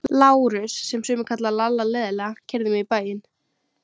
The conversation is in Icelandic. Lárus, sem sumir kalla Lalla leiðinlega, keyrði mig í bæinn.